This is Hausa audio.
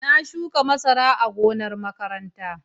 Na shuka masara a gonar makaranta.